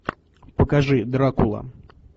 покажи дракула